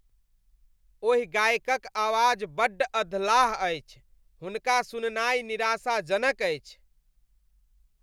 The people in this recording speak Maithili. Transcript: ओहि गायकक आवाज बड्ड अधलाह अछि। हुनका सुननाइ निराशाजनक अछि।